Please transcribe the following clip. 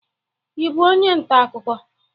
Ị bụ onye nta akụkọ?